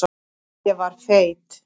Ég var feit.